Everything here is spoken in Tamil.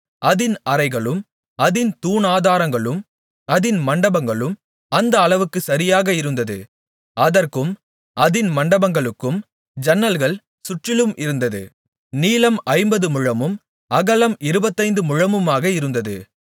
அதின் அறைகளும் அதின் தூணாதாரங்களும் அதின் மண்டபங்களும் அந்த அளவுக்குச் சரியாக இருந்தது அதற்கும் அதின் மண்டபங்களுக்கும் ஜன்னல்கள் சுற்றிலும் இருந்தது நீளம் ஐம்பது முழமும் அகலம் இருபத்தைந்து முழமுமாக இருந்தது